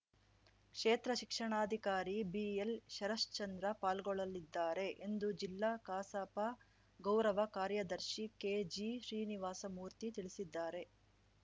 ಕ್ಷೇತ್ರ ಶಿಕ್ಷಣಾಧಿಕಾರಿ ಬಿಎಲ್‌ಶರಶ್ಚಂದ್ರ ಪಾಲ್ಗೊಳ್ಳಲಿದ್ದಾರೆ ಎಂದು ಜಿಲ್ಲಾ ಕಸಾಪ ಗೌರವ ಕಾರ್ಯದರ್ಶಿ ಕೆಜಿ ಶ್ರೀನಿವಾಸಮೂರ್ತಿ ತಿಳಿಸಿದ್ದಾರೆ